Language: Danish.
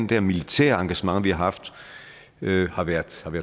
der militære engagement vi har haft har været